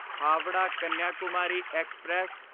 Howrah Kanyakumari express